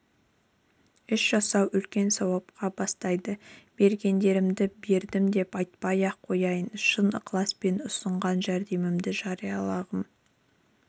іс жасау үлкен сауапқа бастайды бергендерімді бердім деп айтпай-ақ қояйын шын ықыласпен ұсынған жәрдемдерімді жариялағым